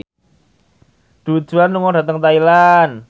Du Juan lunga dhateng Thailand